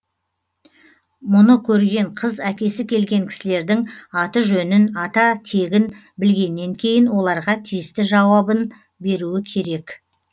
мұны көрген қыз әкесі келген кісілердің аты жөнін ата тегін білгеннен кейін оларға тиісті жауабын беруі керек